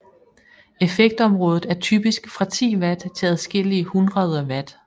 Effektområdet er typisk fra 10 watt til adskillige hundreder watt